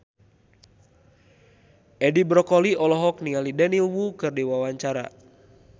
Edi Brokoli olohok ningali Daniel Wu keur diwawancara